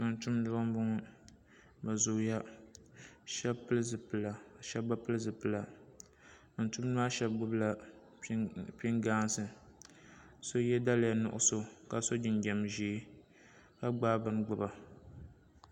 Tumtumdiba n boŋo bi zooya shab pili zipila ka shab bi pili zipila tumtumdiba maa shab gbubila pingaasi ka so yɛ daliya nuɣso ka so jinjɛm ʒiɛ ka gbaai bini gbuba